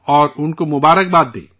ان کو مبارکباد دیجئے